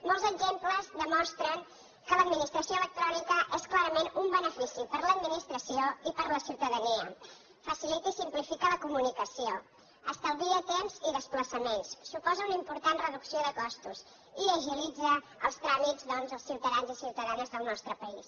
moltes exemples demostren que l’administració electrònica és clarament un benefici per a l’administració i per a la ciutadania facilita i simplifica la comunicació estalvia temps i desplaçaments suposa una important reducció de costos i agilitza els tràmits doncs als ciutadans i ciutadanes del nostre país